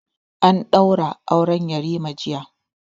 An ɗaura aure yarima jiya